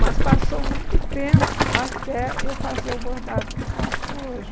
Mas passou muito tempo até eu fazer o bordado que eu faço hoje.